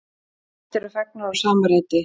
Myndir eru fengnar úr sama riti.